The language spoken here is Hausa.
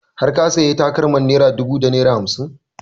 Har ka sayi takalmar naira ɗubu da naira hamsin?